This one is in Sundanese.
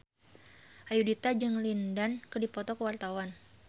Ayudhita jeung Lin Dan keur dipoto ku wartawan